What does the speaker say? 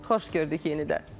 Xoş gördük yenidən.